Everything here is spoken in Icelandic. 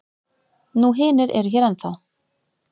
Nú hinir eru hér ennþá.